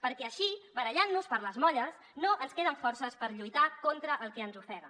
perquè així barallant nos per les molles no ens queden forces per lluitar contra el que ens ofega